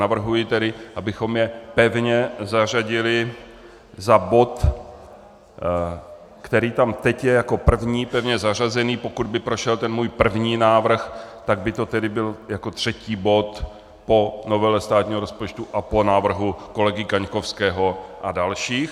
Navrhuji tedy, abychom je pevně zařadili za bod, který tam teď je jako první pevně zařazený, pokud by prošel ten můj první návrh, tak by to tedy byl jako třetí bod po novele státního rozpočtu a po návrhu kolegy Kaňkovského a dalších.